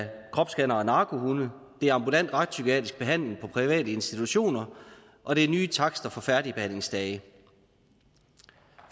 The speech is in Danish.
kropsscannere og narkohunde det er ambulant retspsykiatrisk behandling på private institutioner og det er nye takster for færdigbehandlingsdage